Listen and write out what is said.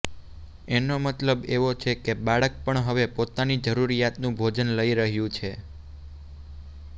એનો મતલબ એવો છે કે બાળક પણ હવે પોતાની જરુરિયાતનું ભોજન લઈ રહ્યું છે